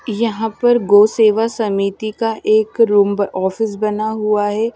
यहां पर गौ सेवा समिति का एक रूम ऑफिस बना हुआ है।